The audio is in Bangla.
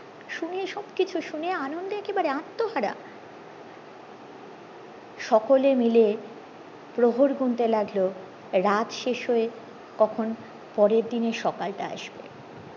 শুনে সবকিছু শুনে আনন্দে একবারে আত্মহারা সকলে মিলে প্রহর গুনতে লাগলো রাত শেষ হয়ে কখন পরের দিনের সকালটা আসবে